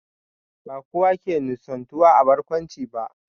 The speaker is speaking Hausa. Ba kowa ke nishantuwa da barkwanci ba